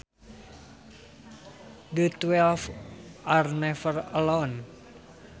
The twelve are never alone